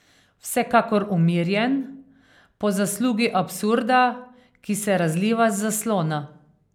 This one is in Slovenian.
Vsekakor umirjen, po zaslugi absurda, ki se razliva z zaslona.